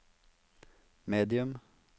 medium